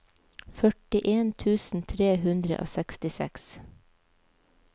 førtien tusen tre hundre og sekstiseks